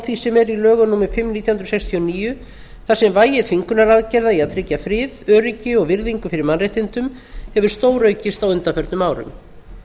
því sem er í lögum númer fimm nítján hundruð sextíu og níu þar sem vægi þvingunaraðgerða í að tryggja frið öryggi og virðingu fyrir mannréttindum hefur stóraukist á undanförnum árum